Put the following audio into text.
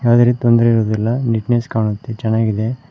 ಆದರೆ ತೊಂದರೆ ಇರುವುದಿಲ್ಲ ನೀಟ್ನೆಸ್ ಕಾಣುತ್ತೆ ಚೆನ್ನಾಗಿದೆ.